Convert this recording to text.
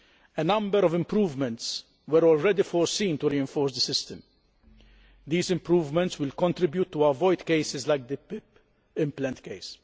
A number of improvements were already foreseen to reinforce the system. These improvements will contribute to avoiding cases like the PIP implant case.